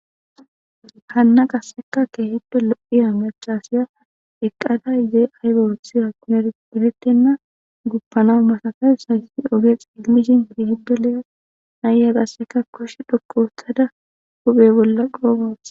Hanna qasseka keehiddo lo'iyaba amachasiya eqqada izee aybaothi ha kuneperettenna guppana masakay sayssi oge xilmishin hieehiddo le'e naya qasseka kosh dhokoothada guphe bolla qodha wothada